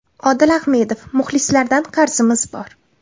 Odil Ahmedov: Muxlislardan qarzimiz bor.